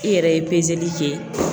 I yɛrɛ ye pezeli kɛ